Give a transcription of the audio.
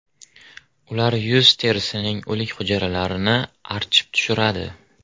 Ular yuz terisining o‘lik hujayralarini archib tushiradi.